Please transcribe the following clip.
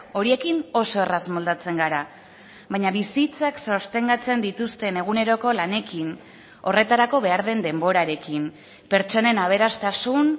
horiekin oso erraz moldatzen gara baina bizitzak sostengatzen dituzten eguneroko lanekin horretarako behar den denborarekin pertsonen aberastasun